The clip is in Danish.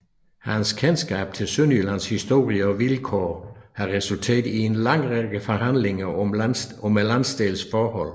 Hans kendskab til Sønderjyllands historie og vilkår har resulteret i en lang række afhandlinger om landsdelens forhold